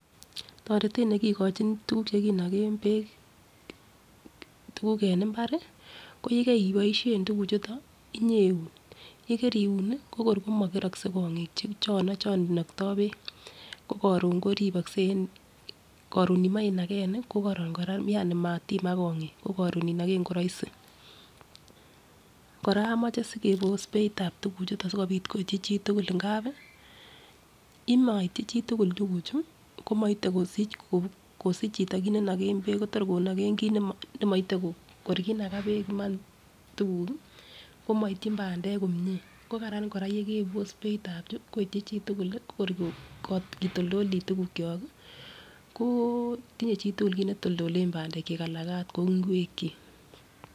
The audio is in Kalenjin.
Toretet nekikochin tukuk chekinoken beek tukuk en imbar ko yekeboishen tukuk chuton iyeun, yekeun ko kor komokerokse kongik chono chon inokto beek ko korun koribokse en korun imoi inaken ko koron koraa Yani matimak kongik korun inoken ko roisi. Koraa omoche sikebos beitab tukuk chuton sikopit koityi chitukul ngapi yemoityi chitukul tukuchu komoite kosich chito kit nenoke beek kotoreti konoken kit nemoite ko kor kinaka beek Iman tukuk kii komoityin pandek komie, ko Karan koraa yekebos beitab chuu koityi chitukul ko kor kotoldoli tukuk kyok kii ko tinye chitukul kit neitoldolen pandek chik ana ot ko ingwek chik.